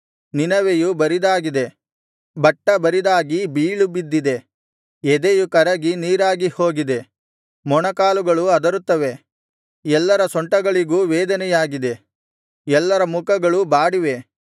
ನಿನವೆಯು ಬರಿದಾಗಿದೆ ಬಟ್ಟಬರಿದಾಗಿ ಬೀಳುಬಿದ್ದಿದೆ ಎದೆಯು ಕರಗಿ ನೀರಾಗಿ ಹೋಗಿದೆ ಮೊಣಕಾಲುಗಳು ಅದರುತ್ತವೆ ಎಲ್ಲರ ಸೊಂಟಗಳಿಗೂ ವೇದನೆಯಾಗಿದೆ ಎಲ್ಲರ ಮುಖಗಳೂ ಬಾಡಿವೆ